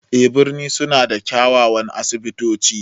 En birni sun na da kiawawan asibito ci